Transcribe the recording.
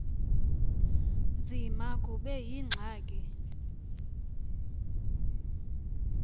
nzima kube yingxaki